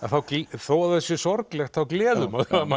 þó að það sé sorglegt þá gleður það mann